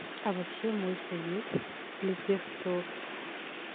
а вообще мой совет для тех кто